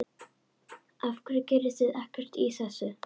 Af hverju gerið þið ekkert í þessu?